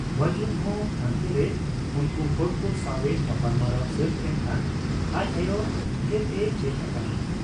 ᱵᱟᱹᱡᱩᱱᱦᱚᱸ ᱦᱟᱱᱛᱮᱨᱮ ᱩᱱᱠᱩ ᱦᱚᱲᱠᱚ ᱥᱟᱶ ᱮ ᱜᱟᱯᱟᱞᱢᱟᱨᱟᱣ ᱥᱟᱹᱛ ᱮᱱᱠᱷᱟᱱ ᱟᱡ ᱟᱭᱚ ᱴᱷᱮᱫ ᱮ ᱦᱮᱡ ᱟᱠᱟᱱᱟ ᱾